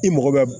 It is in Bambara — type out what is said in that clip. I mago bɛ